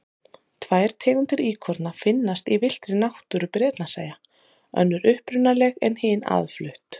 Tvær tegundir íkorna finnast í villtri náttúru Bretlandseyja, önnur upprunaleg en hin aðflutt.